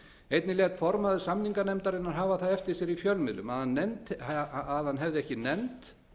einnig lét formaður samninganefndarinnar hafa það eftir sér í fjölmiðlum að hann hefði ekki nennt